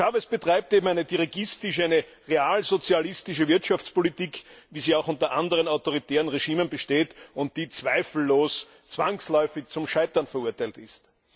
Chávez betreibt eben eine dirigistische, eine realsozialistische Wirtschaftspolitik, wie sie auch unter anderen autoritären Regimen besteht, die zweifellos zwangsläufig zum Scheitern verurteilt ist.